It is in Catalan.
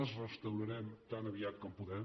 els restaurarem tan aviat com puguem